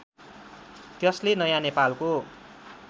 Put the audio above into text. त्यसले नयाँ नेपालको